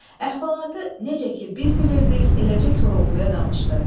Əhvalatı necə ki biz bilirdik, eləcə Koroğluya danışdı.